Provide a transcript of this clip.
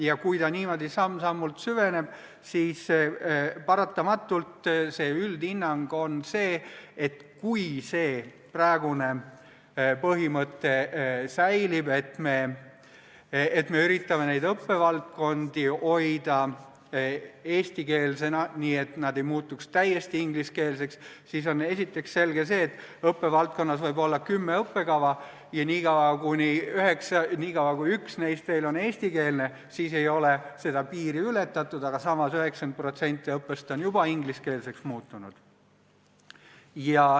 Ja kui ta niimoodi samm-sammult süveneb, siis paratamatult on tagajärg see, et kui säilib praegune põhimõte, et me üritame neid õppevaldkondi hoida eestikeelsena, nii et nad ei muutuks täiesti ingliskeelseks, siis on esiteks selge see, et seni, kuni õppevaldkonna kümnest õppekavast üks on veel eestikeelne, ei ole piiri ületatud, kuigi 90% õppest on juba ingliskeelseks muutunud.